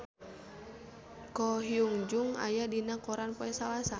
Ko Hyun Jung aya dina koran poe Salasa